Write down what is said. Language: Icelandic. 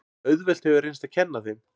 Auðvelt hefur reynst að kenna þeim.